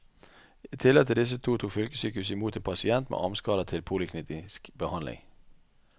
I tillegg til disse to tok fylkessykehuset i mot en pasient med armskader til poliklinisk behandling.